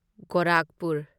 Gorakhpur